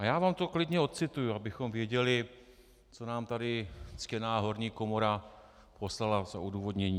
A já vám to klidně odcituji, abychom věděli, co nám tady ctěná horní komora poslala za odůvodnění: